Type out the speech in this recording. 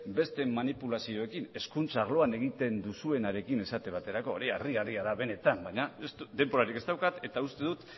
beste manipulazioekin hezkuntza arloan egiten duzuenarekin esate baterako hori harrigarria da benetan baina denborarik ez daukat eta uste dut